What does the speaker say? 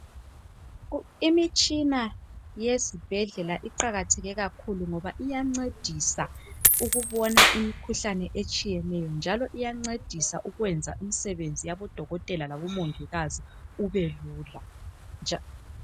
Imitshina yezibhedlela iqakatheke kakhulu ngoba iyencedisa ukubona imikhuhlane etshiyeneyo njalo iyancedisa ukwenza imsebenzi yabo dokotela labongikazi ubelula